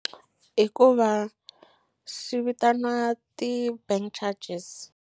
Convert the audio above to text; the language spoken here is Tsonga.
Hikuva swi vitaniwa ti-bank charges.